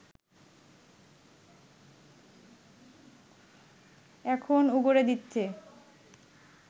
এখন উগরে দিচ্ছে